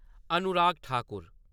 Anurag Thakur